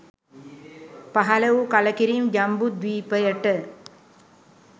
පහළ වූ කළකිරීම ජම්බුද්වීපයට